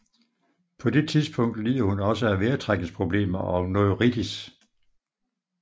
På det tidspunkt lider hun også af vejrtrækningsproblemer og neuritis